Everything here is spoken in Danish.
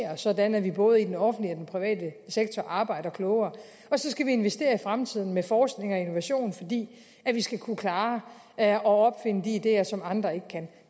sådan at vi både i den offentlige og den private sektor arbejder klogere og så skal vi investere i fremtiden med forskning og innovation fordi vi skal kunne klare at opfinde de ideer som andre ikke kan